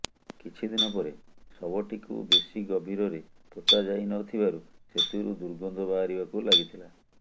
କିଛି ଦିନ ପରେ ଶବଟିକୁ ବେଶି ଗଭୀରରେ ପୋତା ଯାଇ ନ ଥିବାରୁ ସେଥିରୁ ଦୁର୍ଗନ୍ଧ ବାହାରିବାକୁ ଲାଗିଥିଲା